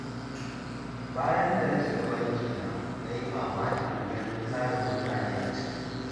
Bayan da na shiga bankina, na yi mamakin ganin tarin mutane a ciki.